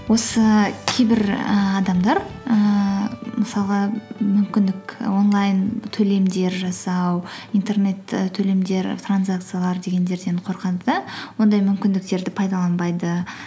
осы кейбір ііі адамдар ііі мысалы мүмкіндік онлайн төлемдер жасау интернет і төлемдер транзакциялар дегендерден қорқады да ондай мүмкіндіктерді пайдаланбайды